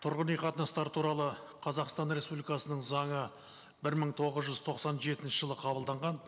тұрғын үй қатынастары туралы қазақстан республикасының заңы бір мың тоғыз жүз тоқсан жетінші жылы қабылданған